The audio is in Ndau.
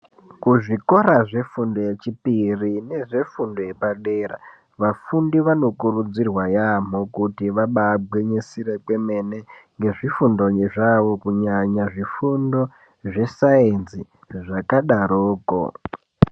Kuzvikora zvefundo yechipiri nezvefundo yepadera vafundi vanokurudzirwa yaamho kuti vabagwinyisira kwemene ngezvifundo zvavo kunyanya zvifundo zvesainzi zvakadaroko.